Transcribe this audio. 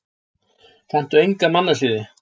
Kanntu enga mannasiði?